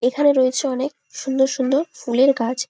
এখানে রয়েছে অনেক সুন্দর সুন্দর ফুলের গাছ ।